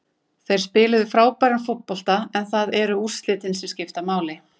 Þeir spiluðu frábæran fótbolta en það eru úrslitin sem skipta máli.